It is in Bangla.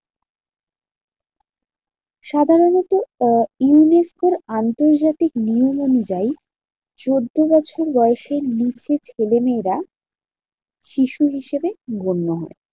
সাধারণত আহ ইংরেজদের আন্তর্জাতিক নিয়ম অনুযায়ী, চোদ্দ বছর বয়সের নিচে ছেলেমেয়েরা শিশু হিসেবে গণ্য হয়।